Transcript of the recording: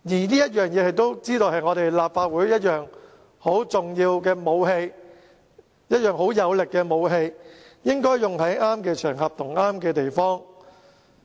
相反，《立法會條例》是立法會很重要和有力的武器，只應該在適當的場合和地方使用。